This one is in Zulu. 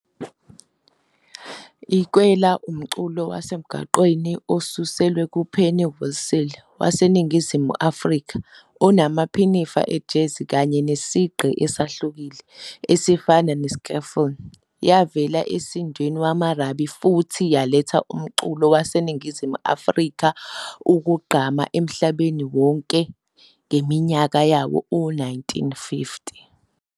I- Kwela Umculo wasemgwaqeni osulwe ku-pennywhistle waseNingizimu Africa onamaphinifa e-jazzy kanye nesigqi esihlukile, esifana ne-skiffle. Yavela e,sindweni wemarabi futhi yaletha umculo waseNingizimu Afrika ukugqama emhlabeni wonke ngeminyaka yawo-1950